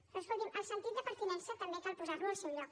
però escolti’m el sentit de pertinença també cal posar lo al seu lloc